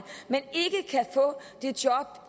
men